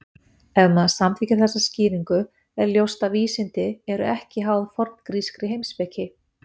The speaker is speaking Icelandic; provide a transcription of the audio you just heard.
Ef maður samþykkir þessa skýringu er ljóst að vísindi eru ekki háð forngrískri heimspeki.